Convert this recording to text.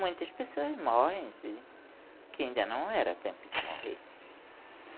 Muitas pessoas morrem assim, que ainda não era tempo de morrer.